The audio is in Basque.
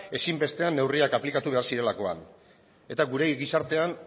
ezinbestean neurriak aplikatu behar zirelakoan eta gure gizartean